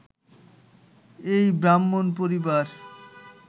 এই ব্রাহ্মণ পরিবার